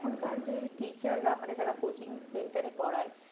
হ্যাঁ নিশ্চয় আর এখনকার যে teacher রা মানে যারা coaching centre এ পড়াই,